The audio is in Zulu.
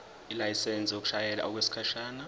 ilayisensi yokushayela okwesikhashana